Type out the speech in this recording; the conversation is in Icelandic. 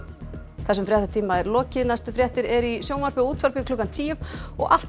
þessum fréttatíma er lokið næstu fréttir eru í sjónvarpi og útvarpi klukkan tíu og alltaf